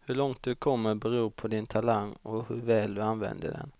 Hur långt du kommer beror på din talang och hur väl du använder den,